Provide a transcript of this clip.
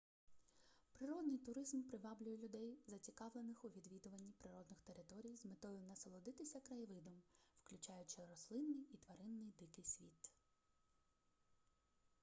природний туризм приваблює людей зацікавлених у відвідуванні природних територій з метою насолодитися краєвидом включаючи рослинний і тваринний дикий світ